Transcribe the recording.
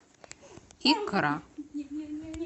икра